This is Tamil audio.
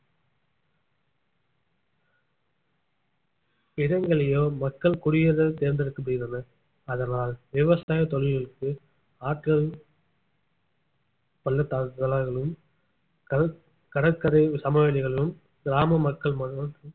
இடங்களையோ மக்கள் குடியேற தேர்ந்தெடுக்கப்படுகின்றன அதனால் விவசாய தொழில்களுக்கு ஆட்கள் பள்ளதாக்குகளாலும் கடற்~கடற்கரை சமவெளிகளும் கிராம மக்கள்